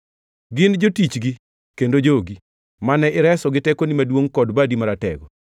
“Gin jotichgi kendo jogi, mane ireso gi tekoni maduongʼ kod badi maratego.